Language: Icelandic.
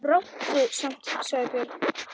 Ráddu samt, sagði Björn.